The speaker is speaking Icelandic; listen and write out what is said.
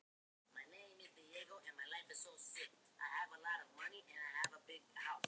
Slíkir eðjustraumar hafa nokkrum sinnum slitið sæsímastrengi.